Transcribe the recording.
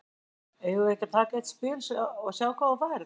Guðný: Eigum við ekki að taka eitt spil, sjá hvað þú færð?